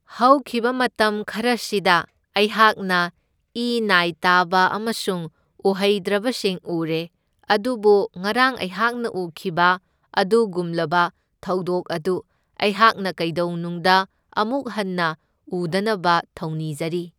ꯍꯧꯈꯤꯕ ꯃꯇꯝ ꯈꯔꯁꯤꯗ ꯏꯩꯍꯥꯛꯅ ꯏ ꯅꯥꯏ ꯇꯥꯕ ꯑꯃꯁꯨꯡ ꯎꯍꯩꯗ꯭ꯔꯕꯁꯤꯡ ꯎꯔꯦ, ꯑꯗꯨꯕꯨ ꯉꯔꯥꯡ ꯑꯩꯍꯥꯛꯅ ꯎꯈꯤꯕ ꯑꯗꯨꯒꯨꯝꯂꯕ ꯊꯧꯗꯣꯛ ꯑꯗꯨ ꯑꯩꯍꯥꯛꯅ ꯀꯩꯗꯧꯅꯨꯡꯗ ꯑꯃꯨꯛ ꯍꯟꯅ ꯎꯗꯅꯕ ꯊꯧꯅꯤꯖꯔꯤ꯫